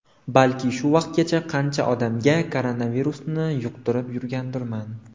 Balki shu vaqtgacha qancha odamga koronavirusni yuqtirib yurgandirman?